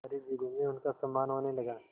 सारे जिले में उनका सम्मान होने लगा